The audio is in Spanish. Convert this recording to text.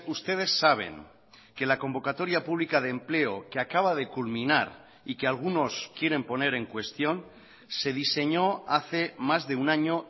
ustedes saben que la convocatoria pública de empleo que acaba de culminar y que algunos quieren poner en cuestión se diseñó hace más de un año